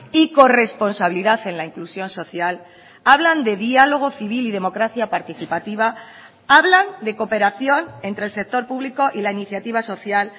y corresponsabilidad en la inclusión social hablan de diálogo civil y democracia participativa hablan de cooperación entre el sector público y la iniciativa social